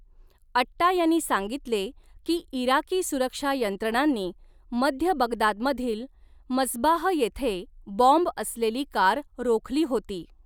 अट्टा यांनी सांगितले की इराकी सुरक्षा यंत्रणांनी मध्य बगदादमधील मस्बाह येथे बॉम्ब असलेली कार रोखली होती.